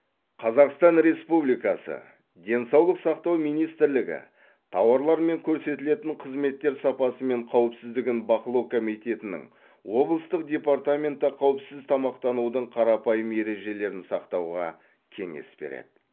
қазақстан республикасы денсаулық сақтау министрлігі тауарлар мен көрсетілетін қызметтер сапасы мен қауіпсіздігін бақылау комитетінің облыстық департаменті қауіпсіз тамақтанудың қарапайым ережелерін сақтауға кеңес береді